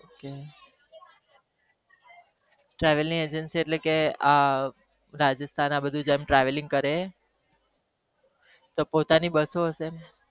travel agency એટલે કે આ રાજસ્થાન ને બધું કરે એ તો પોતાની બસો હશે ને